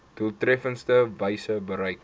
doeltreffendste wyse bereik